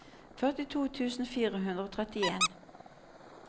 førtito tusen fire hundre og trettien